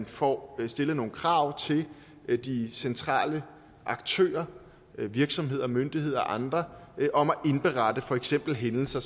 får stillet nogle krav til de centrale aktører virksomheder myndigheder og andre om at indberette for eksempel hændelser